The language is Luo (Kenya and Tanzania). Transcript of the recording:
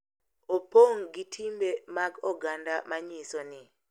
Opong’ gi timbe mag oganda ma nyiso ni .